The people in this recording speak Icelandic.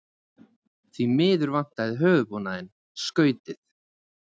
Því miður vantar höfuðbúnaðinn, skautið.